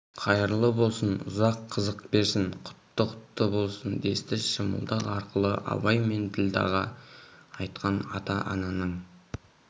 қайырлы болсын ұзақ қызық берсін құтты құтты болсын десті шымылдық арқылы абай мен ділдәға айтқан ата-ананың